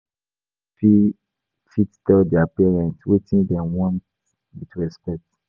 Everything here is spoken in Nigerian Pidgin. Some pipo no fit fit tell dia parents wetin dem want with respect.